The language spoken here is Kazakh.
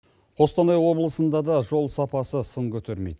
қостанай облысында да жол сапасы сын көтермейді